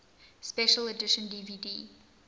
special edition dvd